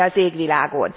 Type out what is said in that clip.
semmi az égvilágon,